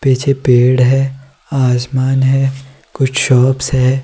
पीछे पेड़ है आसमान है कुछ शॉप्स है।